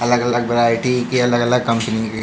अगल-अगल variety के अगल-अगल company --